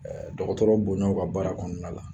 Dɔgɔtɔrɔ bonya u ka baara kɔnɔna la